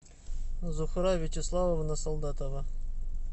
зухра вячеславовна солдатова